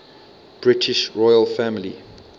british royal family